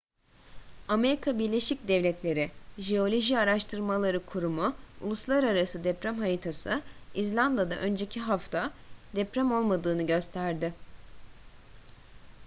amerika birleşik devletleri jeoloji araştırmaları kurumu uluslararası deprem haritası i̇zlanda'da önceki hafta deprem olmadığını gösterdi